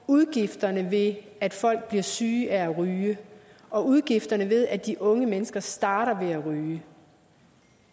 udgifterne ved at folk bliver syge af at ryge og udgifterne ved at de unge mennesker starter med at ryge